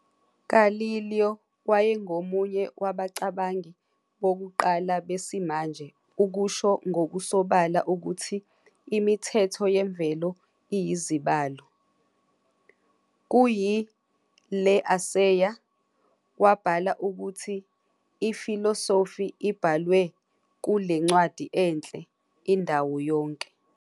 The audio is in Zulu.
Galileo wayengomunye wabacabangi bokuqala besimanje ukusho ngokusobala ukuthi imithetho yemvelo iyizibalo. Kuyi "Le Assayer", wabhala ukuthi "I-Philosophy ibhalwe kule ncwadi enhle, indawo yonke".